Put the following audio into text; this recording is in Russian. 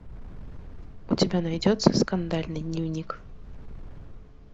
у тебя найдется скандальный дневник